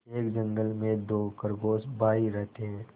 एक जंगल में दो खरगोश भाई रहते थे